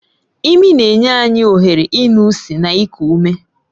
Imi na-enye anyị ohere ịnụ ísì na iku ume.